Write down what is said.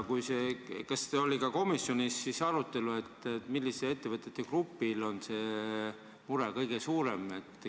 Kas komisjonis oli arutlusel, milliste ettevõtjate grupil on mure kõige suurem?